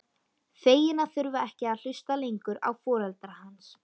Fegin að þurfa ekki að hlusta lengur á foreldra hans.